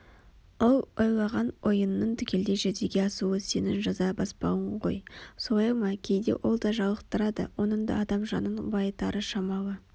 ол ойлаған ойыңның түгелдей жүзеге асуы сенің жаза баспауың ғой солай ма кейде ол да жалықтырады оның да адам жанын байытары шамалы